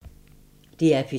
DR P2